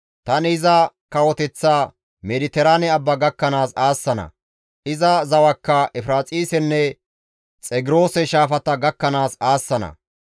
Tani iza kawoteththa Mediteraane Abba gakkanaas aassana. Iza zawakka Efiraaxisenne Xegroose Shaafata gakkanaas aassana.